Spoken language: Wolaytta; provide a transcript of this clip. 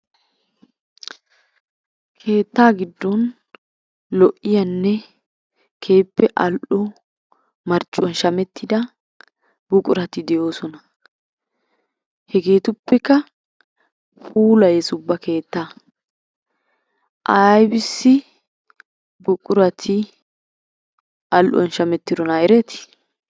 Keettaa giddon lo'iyanne keehippe al'o marccuwan shamettida buqurati de'oosona. Hegeetuppekka puulayes ubba keettaa ayibissi buqurati al'uwan shamettidona ereeti?